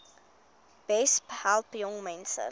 besp help jongmense